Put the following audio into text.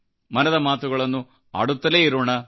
ಮನದ ಮಾತುಗಳನ್ನು ಆಡುತ್ತಲೇ ಇರೋಣ